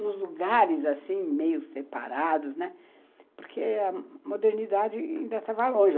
nos lugares assim meio separados, porque a modernidade ainda estava longe.